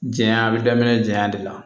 Diɲɛ bɛ daminɛ jɛya de la